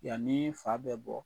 Yani fa bɛ bɔ